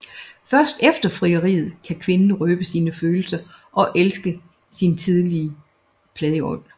Først efter frieriet kan kvinden røbe sine følelser og elske sin tidligere plageånd